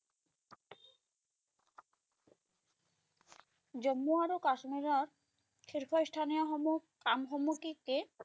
জম্মু আৰু কাশ্মীৰত শীৰ্ষ স্থানীয় সমূহ কামসমূহ কি কি?